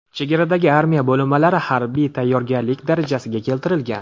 Chegaradagi armiya bo‘linmalari harbiy tayyorlik darajasiga keltirilgan.